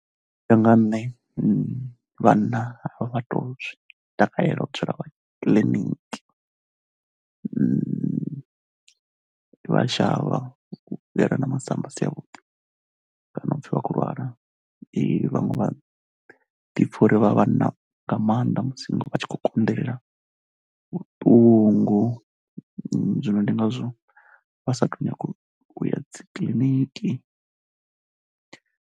U ya nga ha nṋe vhana vha tou takalela u dzula vha kiḽiniki vhathu vha a shavha u vhuyela na masamba a si avhuḓi kana u pfhi vha khou lwala, vhaṅwe vha ḓipfha uri vha vhanna nga maanḓa musi vha tshi khou konḓelela vhuṱungu zwino ndi ngazwo vha sa tou nyaga u ya dzi kiḽiniki.